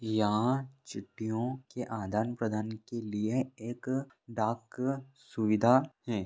यह चिट्ठियों के आदान प्रदान के लिए एक डाक सुविधा है।